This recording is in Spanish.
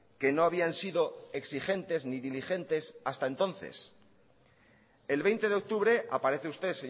que no habían sido exigentes ni diligentes hasta entonces el veinte de octubre aparece usted